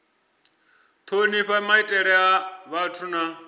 thonifha maitele a vhathu na